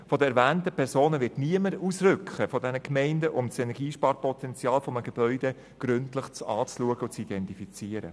Von den erwähnten Personen aus den Gemeinden wird niemand ausrücken, um das Energiesparpotenzial eines Gebäudes gründlich anzuschauen und zu identifizieren.